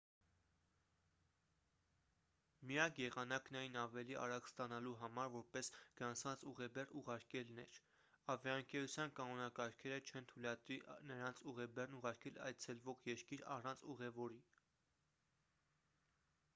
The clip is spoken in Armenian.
միակ եղանակն այն ավելի արագ ստանալու համար որպես գրանցված ուղեբեռ ուղարկելն էր ավիաընկերության կանոնակարգերը չեն թույլատրի նրանց ուղեբեռն ուղարկել այցելվող երկիր առանց ուղևորի